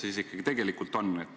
Kuidas sellega tegelikult ikkagi on?